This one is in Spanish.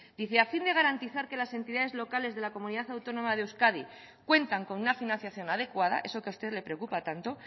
dice a fin de garantizar que las entidades locales de la comunidad autónoma de euskadi cuentan con una financiación adecuada eso que a usted le preocupa tanto